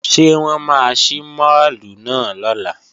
Ṣé wọ́n máa ṣí máàlù náà lọ́la?